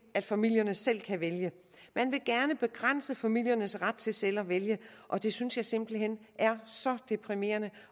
at familierne selv kan vælge man vil gerne begrænse familiernes ret til selv at vælge og det synes jeg simpelt hen er så deprimerende